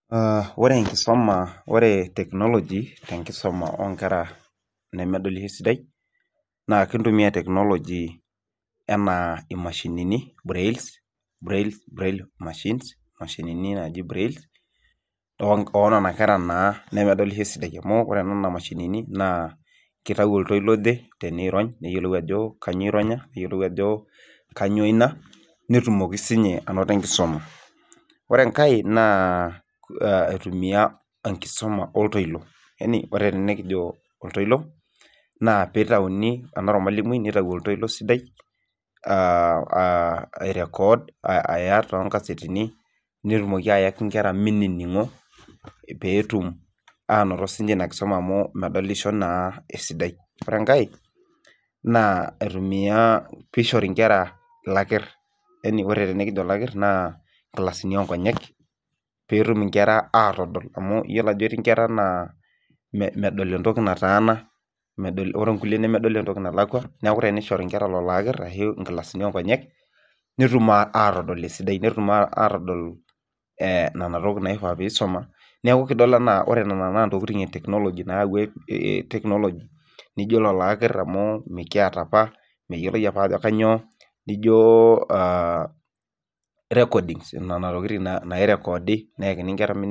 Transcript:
Ore enkisuma, ore technology te nkisoma oo nkera nemedolisho naa kintumia technology enaa imashinini brailles, braille machines imashinini naaji braille oo nena kera naa nemedolisho esidai amu ore nena mashinini naa keitau oltoilo oje teneirony neyiolou ajo kanyoo eironya, neyiolou ajo kanyoo ina netumoki siininye anoto enkisuma. Ore enkae naa aitumia enkisoma oltoilo. yani ore tenekijo oltoilo nitauni, enaa ormalimui nitau oltoilo sidai ai record aya toonkasetini netumoki ayaki nkera minining'o peetum anoto siiniche ina kisoma amu medolisho naa esidai. Ore enkae naa aitumia, piishori inkera ilakirr. yani Ore tenekijo ilakirr naa inkilasini oo nkonyek peetum inkera aatodol amu iyiolo ajo etii nkera naa medal entoki nataana, ore nkulie nemedol entoki nalakwa. Neeku tenishore nkera lelo akirr ashu inkilasini oo nkonyek netum aatodol esidai. Netum aatodol nena tokiting naifaa peisoma neeku etiu enaa ore nena naa ntokiting e technology naayawua technology nijo lelo akirr amu mikiata opa, meyioloi opa ajo kainyoo nijo recordings nena tokiting nairekoodi peeyakini nkera minining'o